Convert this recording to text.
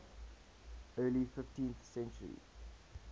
early fifteenth century